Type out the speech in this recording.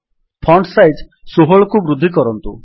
font size ୧୬କୁ ବୃଦ୍ଧି କରନ୍ତୁ